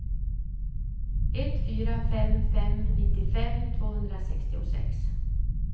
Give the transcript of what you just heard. ett fyra fem fem nittiofem tvåhundrasextiosex